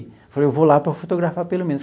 Falei, eu vou lá para fotografar pelo menos.